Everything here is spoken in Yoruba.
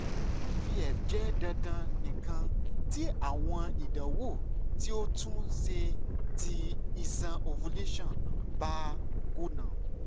ivf jẹ dandan nikan ti awọn idanwo ti o tun ṣe ti iṣan ovulation ba kuna